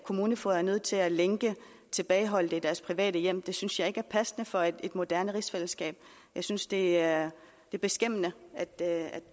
kommunefogeder er nødt til at lænke tilbageholdte i deres private hjem det synes jeg ikke er passende for et moderne rigsfællesskab jeg synes det er beskæmmende at